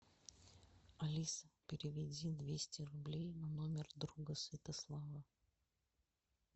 алиса переведи двести рублей на номер друга святослава